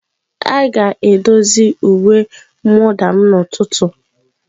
A ga-edozi uwe mwụda m n'ụtụtụ.